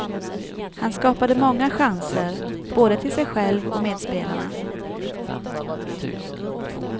Han skapade många chanser, både till sig själv och medspelarna.